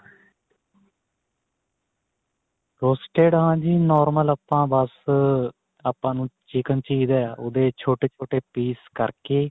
roosted ਹਾਂਜੀ normal ਆਪਾਂ ਬੱਸ ਆਪਾਂ ਨੂੰ chicken ਚਾਹੀਦਾ ਉਹਦੇ ਛੋਟੇ ਛੋਟੇ piece ਕਰਕੇ